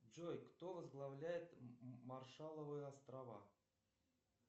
джой кто возглавляет маршалловы острова